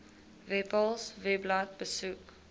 webpals webblad besoek